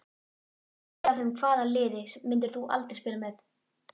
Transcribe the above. Hlægja af þeim Hvaða liði myndir þú aldrei spila með?